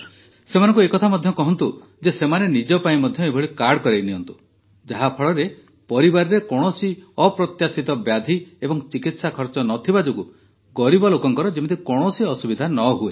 ସେମାନଙ୍କୁ ଏ କଥା ମଧ୍ୟ କହନ୍ତୁ ଯେ ସେମାନେ ମଧ୍ୟ ନିଜ ପାଇଁ ଏଭଳି କାର୍ଡ଼ କରାଇନିଅନ୍ତୁ ଯାହାଫଳରେ ପରିବାରରେ କୌଣସି ଅପ୍ରତ୍ୟାଶିତ ବ୍ୟାଧି ଏବଂ ଚିକିତ୍ସା ଖର୍ଚ୍ଚ ନ ଥିବା ଯୋଗୁଁ ଗରିବ ଲୋକର ଯେମିତି କୌଣସି ଅସୁବିଧା ନ ହୁଏ